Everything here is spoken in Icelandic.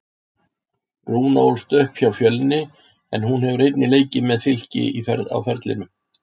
Rúna ólst upp hjá Fjölni en hún hefur einnig leikið með Fylki á ferlinum.